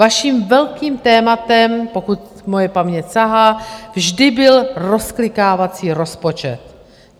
Vaším velkým tématem, pokud moje paměť sahá, vždy byl rozklikávací rozpočet.